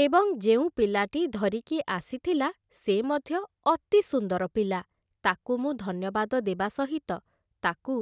ଏବଂ ଯେଉଁ ପିଲାଟି ଧରିକି ଆସିଥିଲା, ସେ ମଧ୍ୟ ଅତି ସୁନ୍ଦର ପିଲା । ତାକୁ ମୁଁ ଧନ୍ୟବାଦ ଦେବା ସହିତ ତାକୁ